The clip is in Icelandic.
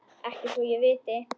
Ekki svo ég viti.